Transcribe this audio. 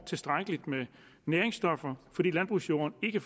tilstrækkelig med næringsstoffer fordi landbrugsjorden ikke